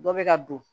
Dɔ bɛ ka don